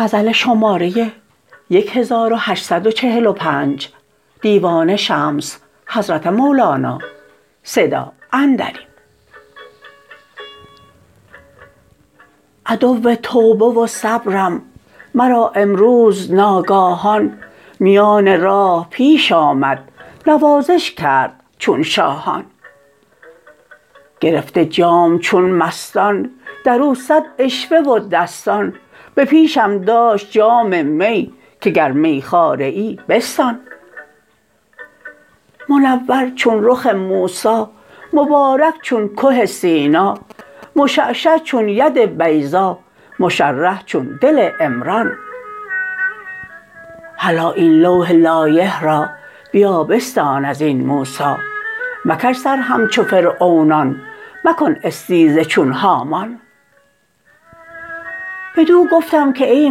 عدو توبه و صبرم مرا امروز ناگاهان میان راه پیش آمد نوازش کرد چون شاهان گرفته جام چون مستان در او صد عشوه و دستان به پیشم داشت جام می که گر میخواره ای بستان منور چون رخ موسی مبارک چون که سینا مشعشع چون ید بیضا مشرح چون دل عمران هلا این لوح لایح را بیا بستان از این موسی مکش سر همچو فرعونان مکن استیزه چون هامان بدو گفتم که ای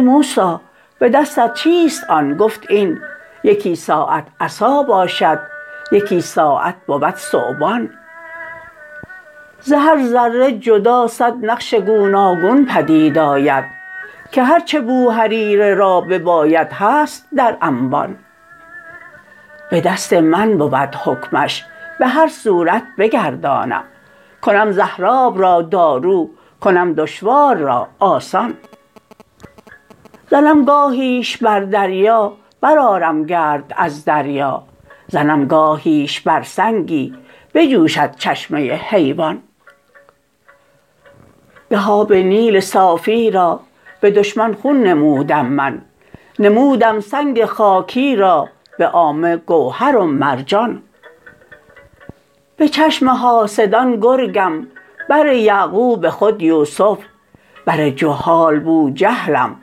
موسی به دستت چیست آن گفت این یکی ساعت عصا باشد یکی ساعت بود ثعبان ز هر ذره جدا صد نقش گوناگون بدید آید که هر چه بوهریره را بباید هست در انبان به دست من بود حکمش به هر صورت بگردانم کنم زهراب را دارو کنم دشوار را آسان زنم گاهیش بر دریا برآرم گرد از دریا زنم گاهیش بر سنگی بجوشد چشمه حیوان گه آب نیل صافی را به دشمن خون نمودم من نمودم سنگ خاکی را به عامه گوهر و مرجان به چشم حاسدان گرگم بر یعقوب خود یوسف بر جهال بوجهلم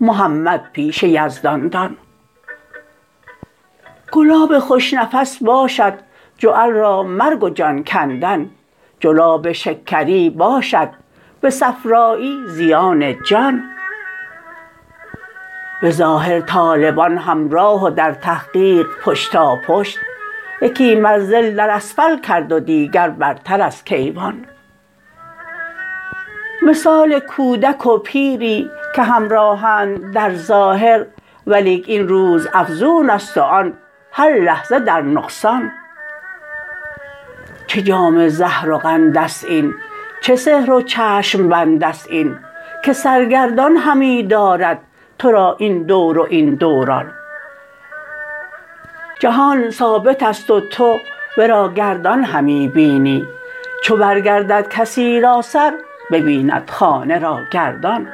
محمد پیش یزدان دان گلاب خوش نفس باشد جعل را مرگ و جان کندن جلاب شکری باشد به صفرایی زیان جان به ظاهر طالبان همراه و در تحقیق پشتاپشت یکی منزل در اسفل کرد و دیگر برتر از کیوان مثال کودک و پیری که همراهند در ظاهر ولیک این روزافزون است و آن هر لحظه در نقصان چه جام زهر و قند است این چه سحر و چشم بند است این که سرگردان همی دارد تو را این دور و این دوران جهان ثابت است و تو ورا گردان همی بینی چو برگردد کسی را سر ببیند خانه را گردان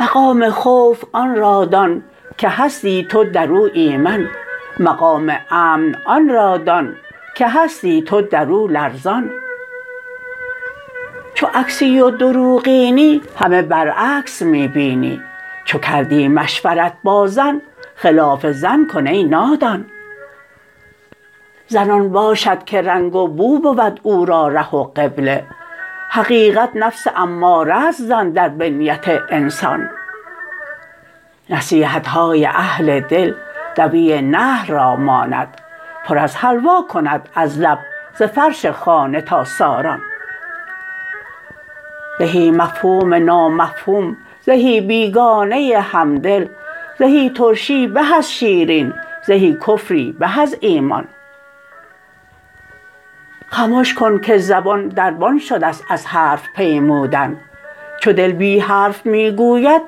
مقام خوف آن را دان که هستی تو در او ایمن مقام امن آن را دان که هستی تو در او لرزان چو عکسی و دروغینی همه برعکس می بینی چو کردی مشورت با زن خلاف زن کن ای نادان زن آن باشد که رنگ و بو بود او را ره و قبله حقیقت نفس اماره ست زن در بنیت انسان نصیحت های اهل دل دوی نحل را ماند پر از حلوا کند از لب ز فرش خانه تا ساران زهی مفهوم نامفهوم زهی بیگانه همدل زهی ترشی به از شیرین زهی کفری به از ایمان خمش کن که زبان دربان شده ست از حرف پیمودن چو دل بی حرف می گوید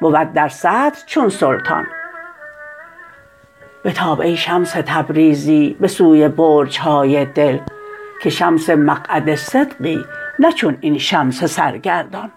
بود در صدر چون سلطان بتاب ای شمس تبریزی به سوی برج های دل که شمس مقعد صدقی نه چون این شمس سرگردان